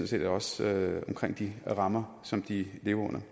set også de rammer som de lever